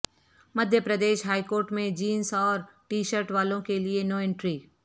Madhya Pradesh high court میں jeans اور T shirt والوں کیلئے نو انٹری